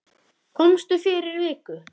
Komstu fyrir viku?